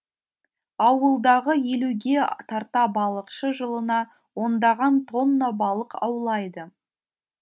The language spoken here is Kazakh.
ауылдағы елуге тарта балықшы жылына ондаған тонна балық аулайды